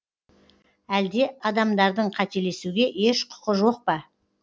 әлде адамдардың қателесуге еш құқы жоқ па